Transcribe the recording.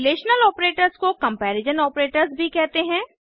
relational operators को comparison operators भी कहते हैं